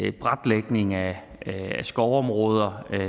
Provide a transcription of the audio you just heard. i braklægning af skovområder